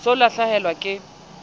o se o lahlehelwa ke